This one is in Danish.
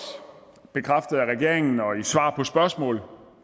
bekræftet af regeringen og i svar på spørgsmål